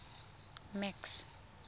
max